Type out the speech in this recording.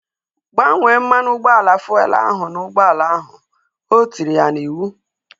Gbanye mmanụ ụgbọala fuelu ahu n'ụgbọala ahu! O tiri ya n'iwu